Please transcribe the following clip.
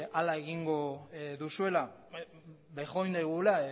hala egingo duzuela bejondeigula